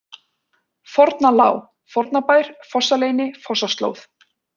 Forna-Lá, Fornabær, Fossaleyni, Fossaslóð